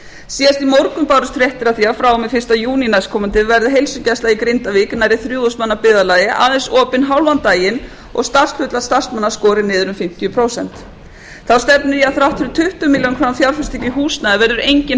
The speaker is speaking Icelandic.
síðast í morgun bárust fréttir af því að frá og með fyrsta júní næstkomandi verði heilsugæsla í grindavík nærri þrjú þúsund manna byggðarlagi aðeins opin hálfan daginn og starfshlutfall starfsmanna skorið niður um fimmtíu prósent þá stefnir í að að þrátt fyrir tuttugu milljónir króna fjárfestingu í húsnæði verður engin